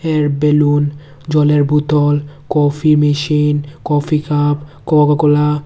এর বেলুন জলের বোতল coffee machine coffee cup coca cola --